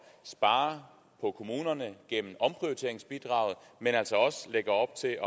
spare på kommunerne gennem omprioriteringsbidraget men altså også lægger op til